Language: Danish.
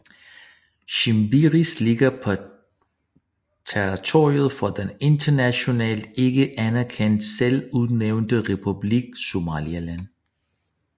Shimbiris ligger på territoriet for den internationalt ikke anerkendte selvudnævnte republik Somaliland